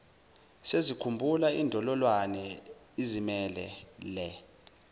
sesikhumba indololwane izimelele